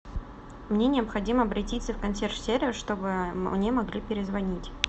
мне необходимо обратиться в консьерж сервис чтобы мне могли перезвонить